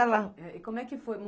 ela. É, e como é que foi?